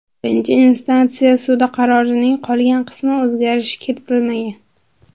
Birinchi instantsiya sudi qarorining qolgan qismiga o‘zgartirish kiritilmagan.